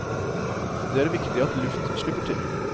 Det er viktig at luft slipper til.